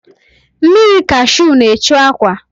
Mmiri kashu na-echu akwa.